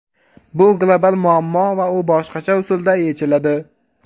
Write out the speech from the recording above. Bu global muammo va u boshqacha usulda yechiladi.